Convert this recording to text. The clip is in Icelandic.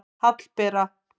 Hallbera